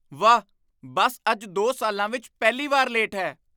ਵਾਹ, ਬੱਸ ਅੱਜ ਦੋ ਸਾਲਾਂ ਵਿੱਚ ਪਹਿਲੀ ਵਾਰ ਲੇਟ ਹੈ